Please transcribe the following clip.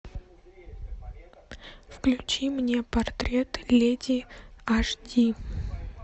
включи мне портрет леди аш ди